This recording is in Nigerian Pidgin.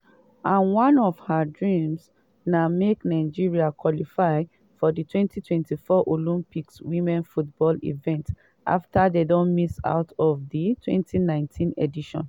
and one of her dreams na make nigeria qualify for di 2024 olympics women's football event afta dem miss out of di 2019 edition.